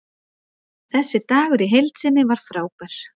Þessi dagur í heild sinni var frábær.